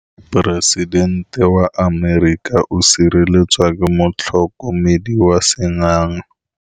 Poresitêntê wa Amerika o sireletswa ke motlhokomedi wa sengaga.